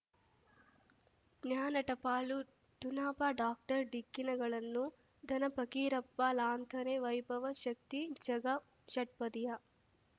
ಜ್ಞಾನ ಟಪಾಲು ಠೊಣಪ ಡಾಕ್ಟರ್ ಢಿಕ್ಕಿ ಣಗಳನು ಧನ ಫಕೀರಪ್ಪ ಳಂತಾನೆ ವೈಭವ್ ಶಕ್ತಿ ಝಗಾ ಷಟ್ಪದಿಯ